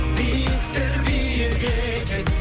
биіктер биік екен